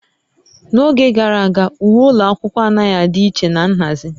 N'oge gara aga, uwe ụlọ akwụkwọ anaghị adị iche na nhazi